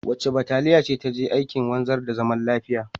Wace bataliya ce ta je aikin wanzar da zaman lafiya?